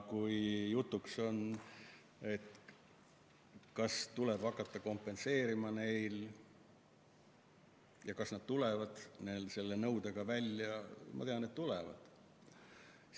On jutuks olnud, kas seda tuleb hakata neile kompenseerima, kas nad tulevad selle nõudega välja – ma tean, et tulevad.